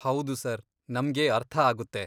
ಹೌದು ಸರ್, ನಮ್ಗೆ ಅರ್ಥ ಆಗುತ್ತೆ.